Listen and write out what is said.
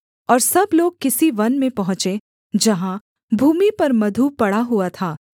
और सब लोग किसी वन में पहुँचे जहाँ भूमि पर मधु पड़ा हुआ था